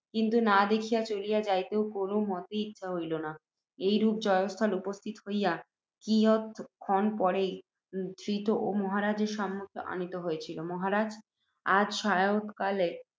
কিন্তু না দেখিয়া চলিয়া যাইতেও, কোনও মতে, ইচ্ছা হইল না। এইরূপে জয়স্থলে উপস্থিত হইয়া, কিয়ৎক্ষণ পরেই ধৃত ও মহারাজের সম্মুখে আনীত হইয়াছি। মহারাজ! তাজ সায়ংকালে